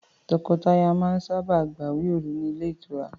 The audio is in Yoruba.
Tọkọtaya máa sábà gbawe òru ni Ile itura